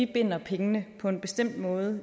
binder pengene på en bestemt måde